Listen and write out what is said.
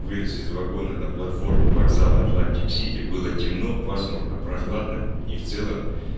вылез из вагона на платформу вокзала атлантик-сити было темно пасмурно прохладно и в целом